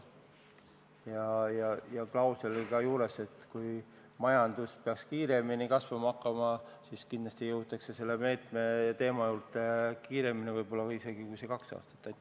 Ja selle juures on ka klausel, et kui majandus peaks kasvama kiiremini, siis jõutakse selle meetme teema juurde isegi võib-olla varem kui kahe aasta pärast.